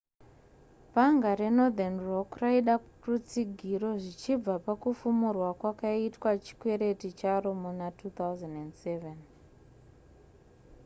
bhanga renorthern rock raida rutsigiro zvichibva pakufumurwa kwakaitwa chikwereti charo muna 2007